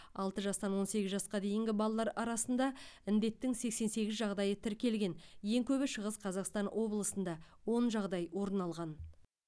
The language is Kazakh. алмы жастан он сегіз жасқа дейінгі балалар арасында індеттің сексен сегіз жағдайы тіркелген ең көбі шығыс қазақстан облысында он жағдай орын алған